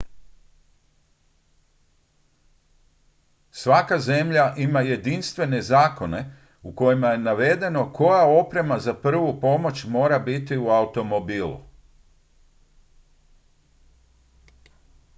svaka zemlja ima jedinstvene zakone u kojima je navedeno koja oprema za prvu pomoć mora biti u automobilu